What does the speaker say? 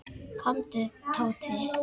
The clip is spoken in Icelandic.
Komdu, Tóti.